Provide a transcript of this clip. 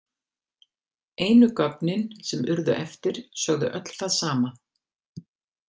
Einu gögnin sem urðu eftir sögðu öll það sama.